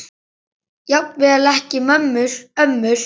Jafnvel ekki ömmur.